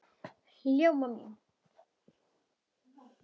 Ljóma mín!